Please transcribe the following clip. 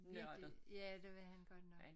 Virkelig ja det var han godt nok